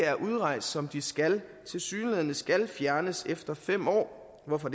er udrejst som de skal tilsyneladende skal fjernes efter fem år hvorfor